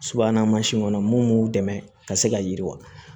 Subahana mansin kɔnɔ mun b'u dɛmɛ ka se ka yiriwa